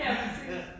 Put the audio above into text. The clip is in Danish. Ja, præcis